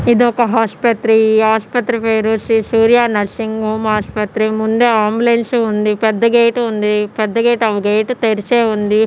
ఇదొక హాస్పత్రి ఈ ఆసుపత్రి పేరు శ్రీ సూర్య నర్సింగ్ హోమ్ ఆసుపత్రి ముందే అంబులెన్సు ఉంది పెద్ద గేటు ఉంది పెద్ద గేటు తెరిసే ఉంది.